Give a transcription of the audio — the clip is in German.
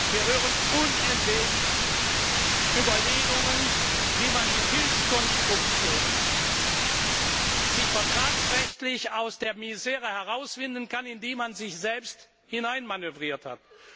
Wir hören unentwegt Überlegungen, wie man sich mit Hilfskonstruktionen vertragsrechtlich aus der Misere herauswinden kann, in die man sich selbst hineinmanövriert hat.